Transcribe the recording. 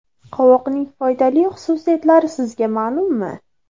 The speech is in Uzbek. Qovoqning foydali xususiyatlari sizga ma’lummi?